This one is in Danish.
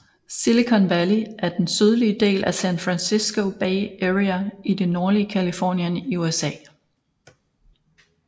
Silicon Valley er den sydlige del af San Francisco Bay Area i det nordlige Californien i USA